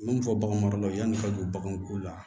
Minnu fɔ baganmaralaw yann'u ka don baganw ko la